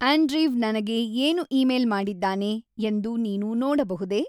Andrew ನನಗೆ ಏನು email ಮಾಡಿದ್ದಾನೆ ಎಂದು ನೀನು ನೋಡಬಹುದೇ?